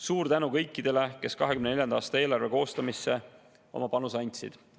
Suur tänu kõikidele, kes 2024. aasta eelarve koostamisse oma panuse andsid!